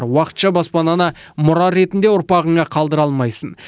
уақытша баспананы мұра ретінде ұрпағыңа қалдыра алмайсың